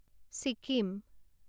Sikkim